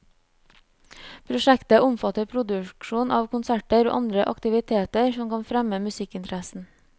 Prosjektet omfatter produksjon av konserter og andre aktiviteter som kan fremme musikkinteressen.